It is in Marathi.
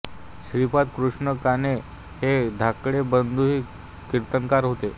श्रीपाद कृष्ण काणे हे धाकटे बंधूही कीर्तनकार होते